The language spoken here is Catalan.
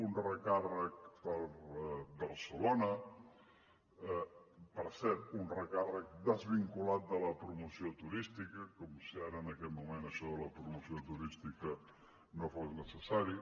un recàrrec per a barcelona per cert un recàrrec desvinculat de la promoció turística com si ara en aquest moment això de la promoció turística no fos necessari